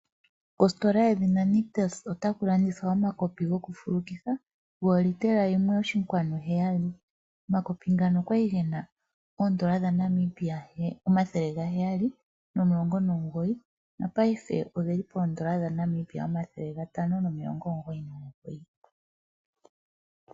Kositola yoNictus otaku landithwa omakopi gokufulukitha goolitela 1.7. Ngono ga li ge na N$ 719 nopaife oge li pooN$ 599.